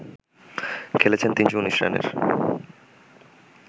খেলেছেন ৩১৯ রানের